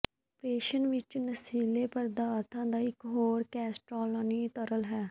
ਪ੍ਰਸ਼ਨ ਵਿੱਚ ਨਸ਼ੀਲੇ ਪਦਾਰਥਾਂ ਦਾ ਇੱਕ ਹੋਰ ਨਾਂ ਕੈਸਟੈਲਨੀ ਤਰਲ ਹੈ